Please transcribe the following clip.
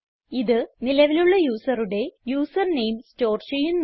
ഇത് നിലവിലുള്ള യൂസറുടെ യൂസർ നെയിം സ്റ്റോർ ചെയ്യുന്നു